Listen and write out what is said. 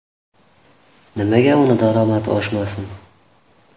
Nimaga uning daromadi oshmasin?